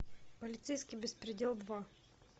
полицейский беспредел два